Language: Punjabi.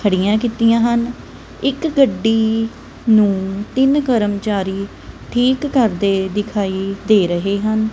ਖੜੀਆਂ ਕੀਤੀਆਂ ਹਨ ਇੱਕ ਗੱਡੀ ਨੂੰ ਤਿੰਨ ਕਰਮਚਾਰੀ ਠੀਕ ਕਰਦੇ ਦਿਖਾਈ ਦੇ ਰਹੇ ਹਨ।